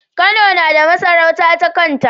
Kano nada masarauta ta kanta